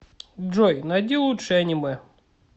джой найди лучшие аниме